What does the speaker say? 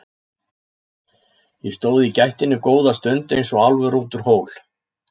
Ég stóð í gættinni góða stund eins og álfur út úr hól.